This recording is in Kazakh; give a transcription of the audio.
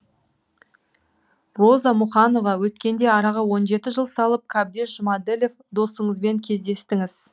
роза мұқанова өткенде араға он жеті жыл салып қабдеш жұмәділов досыңызбен кездестіңіз